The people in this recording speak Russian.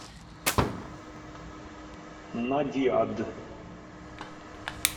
надиад